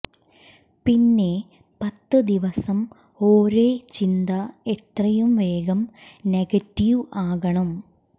പിന്നെ പത്ത് ദിവസം ഒരേ ചിന്ത എത്രയും വേഗം നെഗറ്റീവ് ആകണം